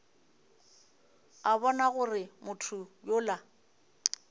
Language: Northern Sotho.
a bona gore motho yola